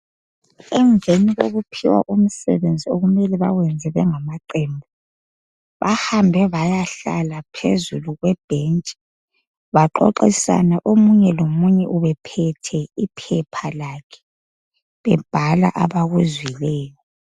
Emveni kokuphiwa komisebenzi okumele bawenze bengamaqembu, bahambe bayahlala phezu kwebhentshi baxoxisana, munye lomunye ephethe iphepha lakhe bebhala abakuzwileyo.